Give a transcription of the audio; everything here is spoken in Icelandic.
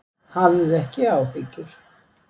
Hafðu ekki áhyggjur.